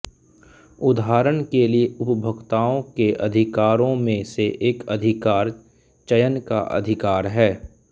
उदाहरण के लिए उपभोक्ताओं के अधिकारों में से एक अधिकार चयन का अधिकार है